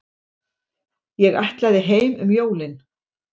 Ég ætlaði heim um jólin.